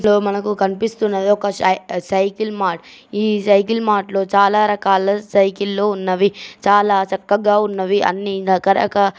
ఇక్కడ మనకు కనిపిస్తున్నది ఒక సై సైకిల్ మార్ట్ . ఈ సైకిల్ మార్ట్ లో చాలా రకాల సైకిల్ లు ఉన్నవి. చాలా చక్కగా ఉన్నవి. అన్ని రకరకా--